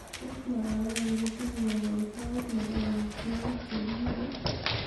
tos magawanin kotinye kogoitoet nebo omitwogik chegiibe ii